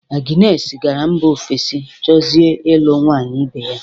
Aginesi gara mba ofesi chọzie ịlụ nwaanyị ibe ya.